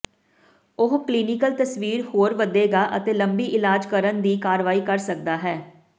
ਉਹ ਕਲੀਨਿਕਲ ਤਸਵੀਰ ਹੋਰ ਵਧੇਗਾ ਅਤੇ ਲੰਬੀ ਇਲਾਜ ਕਰਨ ਦੀ ਅਗਵਾਈ ਕਰ ਸਕਦਾ ਹੈ